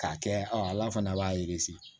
K'a kɛ ala fana b'a